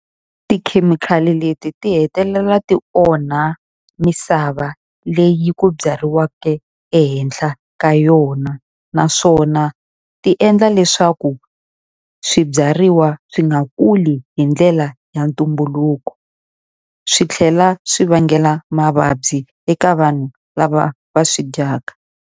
Tikhemikhali leti ti hetelela ti onha misava leyi ku byariweke ehenhla ka yona, naswona ti endla leswaku swibyariwa swi nga kuli hi ndlela ya ntumbuluko. Swi tlhela swi vangela mavabyi eka vanhu lava va swi dyaka.